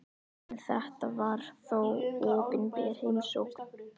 En þetta var þó opinber heimsókn.